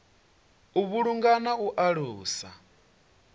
u vhulunga na u alusa